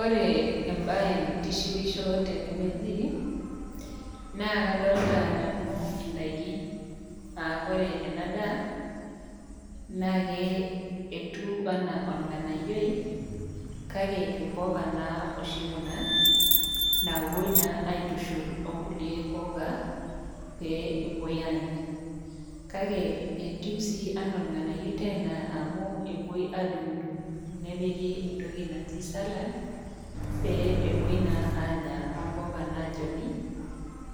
Ore embae naitishipisho Tena naa kadolita nanu edaiki aa ore ena daa ketieu ena orng'anayio kake mbuka naa oshi Kuna napuoi naa aitushul oo nkulie puka pee epuoito Anya kake etieu ena orng'anayio Tena amu epuoito adugudug nepiki entoki naaji salad pee epuoito naa Anya ombuka najoni